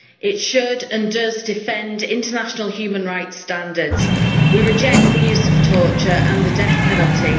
It should, and does, defend international human rights standards. We reject the use of torture and the death penalty.